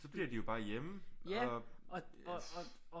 Så bliver de jo bare hjemme og